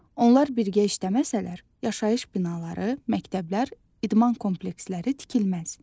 Onlar birgə işləməsələr, yaşayış binaları, məktəblər, idman kompleksləri tikilməz.